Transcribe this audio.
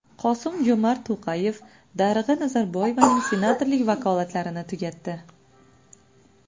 Qosim-Jo‘mart To‘qayev Darig‘a Nazarboyevaning senatorlik vakolatlarini tugatdi.